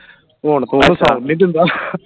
ਹੁਣ ਤੂੰ ਇਹਨੂੰ ਸੋਨ ਨਹੀਂ ਦਿੰਦਾ